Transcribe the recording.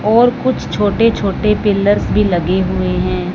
और कुछ छोटे-छोटे पिलर्स भी लगे हुए हैं।